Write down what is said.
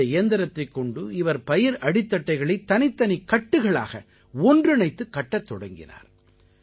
இந்த இயந்திரத்தைக் கொண்டு இவர் பயிர் அடித்தட்டைகளை தனித்தனிக் கட்டுகளாக ஒன்றிணைத்துக் கட்டத் தொடங்கினார்